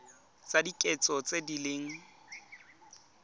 tsa kitso tse di leng